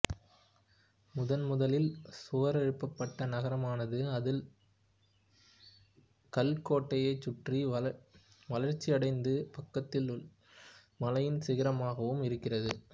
முதன்முதலில் சுவரெழுப்பப்பட்ட நகரமான அது கல் கோட்டையைச் சுற்றி வளர்ச்சியடைந்து பக்கத்திலுள்ள மலையின் சிகரமாகவும் இருக்கிறது